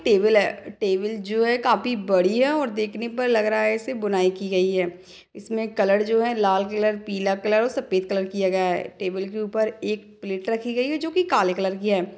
Table है table जो है काफी बड़ी है और देखने पर लग रहा हे इसमे बुनाई की गई है इसमे कलर जो है. लाल कलर पीला कलर और सफेद कलर किया गया है टेबल के ऊपर एक प्लेट रखी गई है जो की काले कलर की है।